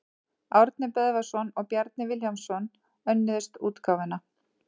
Árni Böðvarsson og Bjarni Vilhjálmsson önnuðust útgáfuna.